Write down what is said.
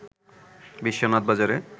বিশ্বনাথ বাজারে